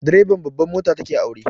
Direban babban mota ta ke aure